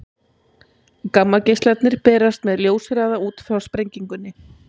gammageislarnir berast með ljóshraða út frá sprengingunni